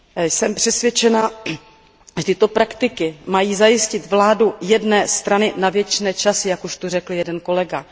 Jsem přesvědčena, že tyto praktiky mají zajistit vládu jedné strany na věčné časy, jak už zde řekl jeden kolega.